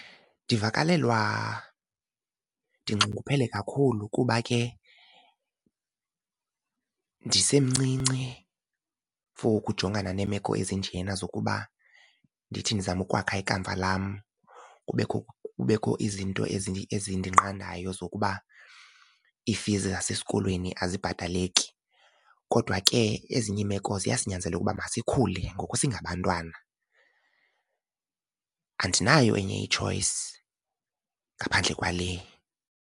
Ndivakalelwa ndinxunguphele kakhulu kuba ke ndisemncinci for ukujongana neemeko ezinjena zokuba ndithi ndizama ukwakha ikamva lam kunekho kubekho izinto ezindinqandayo zokuba i-fees zasesikolweni azibhataleki. Kodwa ke ezinye iimeko ziyasinyanzela ukuba masikhule ngoku singabantwana, andinayo enye i-choice ngaphandle kwale.